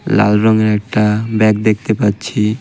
লাল রঙের একটা ব্যাগ দেখতে পাচ্ছি.